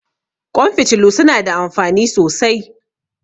Ƙwan fitilu su na da amfani sosai